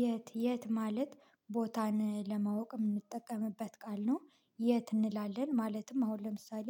የት የት ማለት ቦታን ለማወቅ የምንጠቀምበት ቃል ነው። የት እንላለን ማለትም አሁን ለምሳሌ